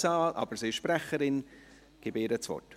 Tamara Funiciello ist Sprecherin, ich gebe ihr das Wort.